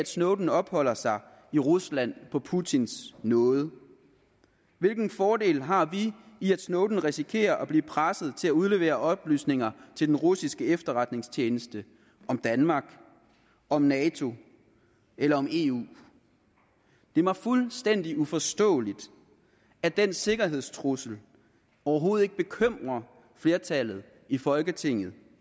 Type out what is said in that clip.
snowden opholder sig i rusland på putins nåde hvilke fordele har vi i at snowden risikerer at blive presset til at udlevere oplysninger til den russiske efterretningstjeneste om danmark om nato eller eu det er mig fuldstændig uforståeligt at den sikkerhedstrussel overhovedet ikke bekymrer flertallet i folketinget